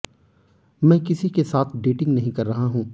मैं किसी के साथ डेटिंग नहीं कर रहा हूं